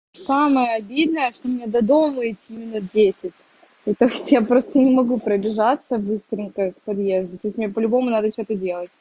самое обидное что меня до дома идти минут десять это я просто не могу продержаться быстренько подъезде по-любому надо сейчас